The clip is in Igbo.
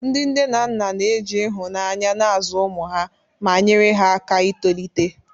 Ndị nne na nna na-eji ịhụnanya na-azụ ụmụ ha, ma nyere ha aka itolite.